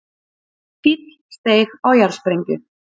Fíll steig á jarðsprengju